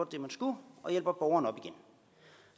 det man skulle og hjælper borgeren op igen